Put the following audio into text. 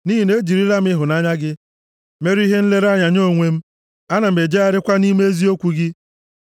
Nʼihi na ejirila m ịhụnanya gị mere ihe nlere anya nye onwe m. Ana m ejegharịkwa nʼime eziokwu gị.